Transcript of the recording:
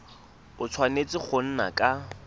a tshwanetse go nna ka